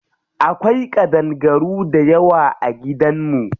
Akwai ƙadangaru dayawa a gidan mu.